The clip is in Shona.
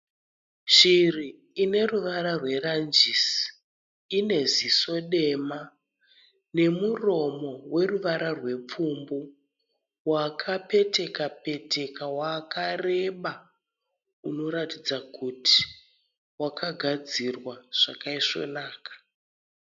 Shiri ine ruvara rweranjisi. Ine ziso dema nemuromo weruvara rwepfumbu wakapeteka peteka wakareba, unoratidza kuti wakagadzirwa zvakaisvonaka.